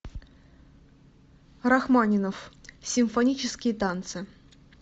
рахманинов симфонические танцы